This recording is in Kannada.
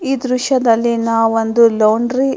ಈ ದೃಶ್ಯದಲ್ಲಿ ನಾವು ಒಂದು ಲಾಂಡ್ರಿ --